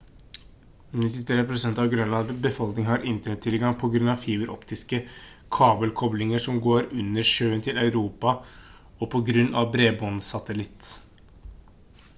93 prosent av grønlands befolkning har internettilgang på grunn av fiberoptiske kabelkoblinger som går under sjøen til europa og på grunn av bredbåndssatellitt